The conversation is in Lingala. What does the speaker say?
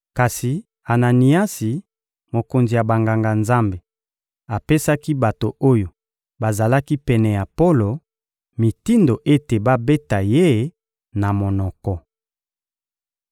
Kasi Ananiasi, mokonzi ya Banganga-Nzambe, apesaki bato oyo bazalaki pene ya Polo mitindo ete babeta ye na monoko.